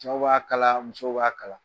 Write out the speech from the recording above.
Cɛw b'a kala musow b'a kala